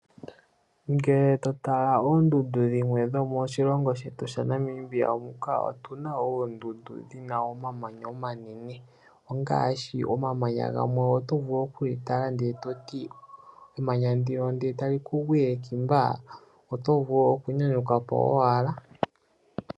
Ngele to tala oondundu dhimwe dhomoshilongo shetu sha Namibia muka otuna oondundu dhina omamanya omanene, ongaashi, omamanya gamwe oto vulu okuli tala ndele toti, emanya ndino ndele etali ku gwile ngiika oto nyanyukapo owala.